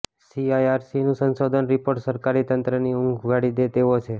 સીઇઆરસીનું સંશોધન રિપોર્ટ સરકારી તંત્રની ઊંધ ઉઘાડી દે તેવો છે